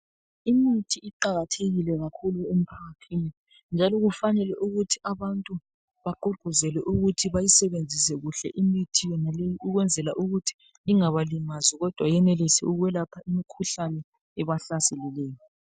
Imithi iqakathekile kakhulu emphakathini njalo kufanele ukuthi abantu bagqugquzelwe ukuthi bayisebenzise kuhle imithi yonaleyo ukwenzela ukuthi ingabalimazi kodwa yenelise ukuthi iyelaphe imikhuhlane ebahlaselileyo.